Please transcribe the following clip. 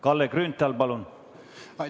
Kalle Grünthal, palun!